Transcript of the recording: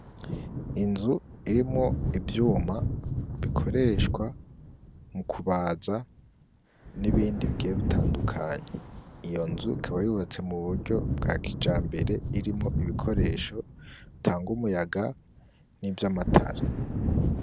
Inzu irimwo ivyuma bikoreshwa mu kubaza ,n'ibindi bigiye bitandukanye, iyo nzu ikaba yubatse muburyo bwakijambere irimwo ibikoresho bitang'umuyaga n'ivy'amatara.